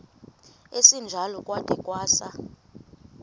esinjalo kwada kwasa